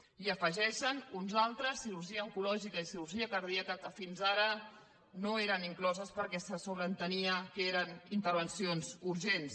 i n’hi afegeixen uns altres cirurgia oncològica i cirurgia cardíaca que fins ara no hi eren incloses perquè se sobreentenia que eren intervencions urgents